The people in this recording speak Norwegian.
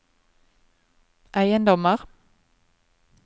eiendommer